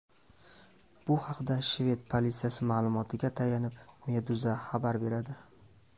Bu haqda shved politsiyasi ma’lumotiga tayanib, Meduza xabar beradi .